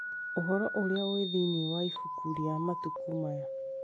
Ũhoro ũrĩa ũrĩ thĩinĩ wa ibuku rĩa matukũ maya